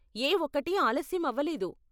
ఏ ఒక్కటీ ఆలస్యం అవ్వలేదు.